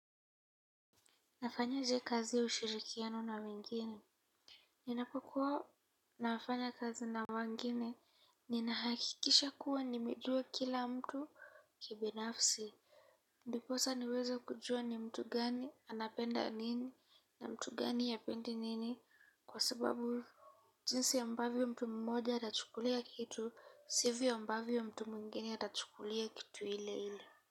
Nafanyaje kazi ushirikiano na wengine ninapokuwa nafanya kazi na wengine ninahakikisha kuwa nimejua kila mtu kibinafsi ndiposa niweza kujua ni mtu gani anapenda nini na mtu gani hapendi nini kwa sababu jinsi ambavyo mtu mmoja atachukulia kitu sivyo ambavyo mtu mwingine atachukulia kitu ile ile.